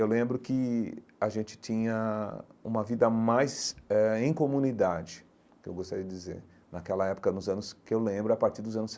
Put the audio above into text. eu lembro que a gente tinha uma vida mais eh em comunidade, que eu gostaria de dizer, naquela época, nos anos que eu lembro, a partir dos anos.